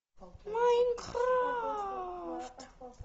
майнкрафт